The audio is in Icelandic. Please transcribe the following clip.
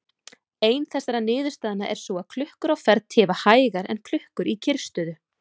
Ein þessara niðurstaðna er sú að klukkur á ferð tifa hægar en klukkur í kyrrstöðu.